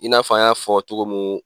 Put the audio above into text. I n'a fɔ an ya fɔ cogo mun